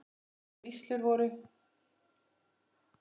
Lægri vígslur voru